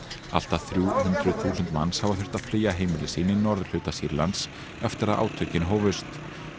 allt að þrjú hundruð þúsund manns hafa þurft að flýja heimili sín í norðurhluta Sýrlands eftir að átökin hófust